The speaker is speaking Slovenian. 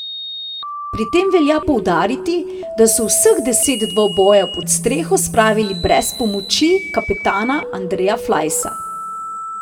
Pri tem velja poudariti, da so vseh deset dvobojev pod streho spravili brez pomoči kapetana Andreja Flajsa.